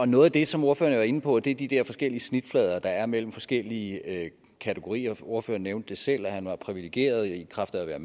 noget af det som ordføreren var inde på var de de der forskellige snitflader der er mellem forskellige kategorier ordføreren nævnte selv at han var privilegeret i kraft af at være